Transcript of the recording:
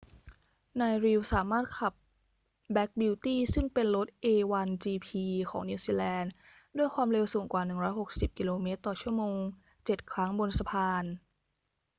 นาย reid สามารถขับ black beauty ซึ่งเป็นรถ a1gp ของนิวซีแลนด์ ด้วยความเร็วสูงกว่า 160 กม./ชม. เจ็ดครั้งบนสะพาน